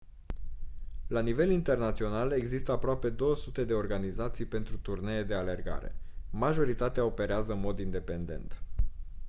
la nivel internațional există aproape 200 de organizații pentru turnee de alergare majoritatea operează în mod independent